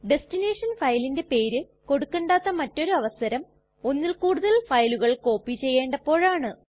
destination ഫയലിന്റെ പേര് കൊടുക്കണ്ടാത്ത മറ്റൊരവസരം ഒന്നിൽ കൂടുതൽ ഫയലുകൾ കോപ്പി ചെയ്യണ്ടപ്പോഴാണ്